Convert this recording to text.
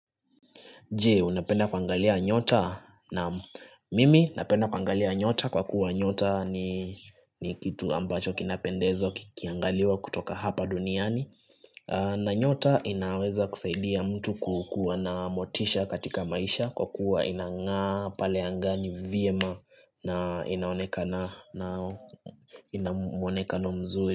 Je unapenda kuangalia nyota naam mimi napenda kuangalia nyota kwa kuwa nyota ni kitu ambacho kinapendeza kikiangaliwa kutoka hapa duniani na nyota inaweza kusaidia mtu kukua na motisha katika maisha kwa kuwa inangaa pale angani vyema na ina mwonekano mzuri.